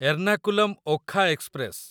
Ernakulam Okha express